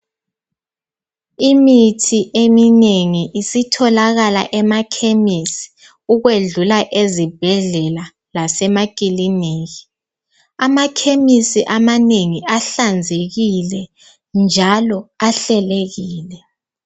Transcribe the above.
Imithi eminengi isitholakala emakhemesi ukwedlula ezibhedlela lasemakiliniki. Amakhemisi amanengi ahlanzekile njalo ahlelekile.